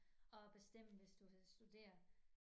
At bestemme hvis du vil studere